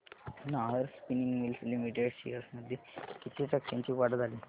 Nahar spinning mills limited shares मध्ये किती टक्क्यांची वाढ झाली